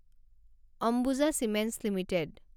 Ambuja cements limited